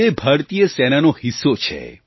જે ભારતીય સેનાનો હિસ્સો છે